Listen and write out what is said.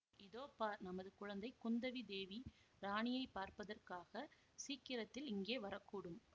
இதோ பார் நமது குழந்தை குந்தவி தேவி ராணியை பார்ப்பதற்காகச் சீக்கிரத்தில் இங்கே வரக்கூடும்